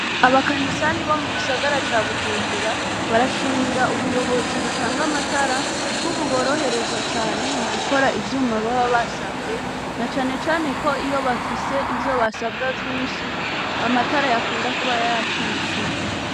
Abakanisani bo mu gisagara ca Bujumbura barashimira ubuyobozi bitanga amatara ko buborohereza mu gukora ivyuma bab basabwe na cane cane ko iyo bafise ivyo basabwa vyinshi amatara yakunda kuba yacitse.